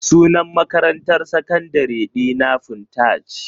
Sunan makarantar sakandare dina Funtaj.